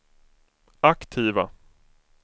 aktiva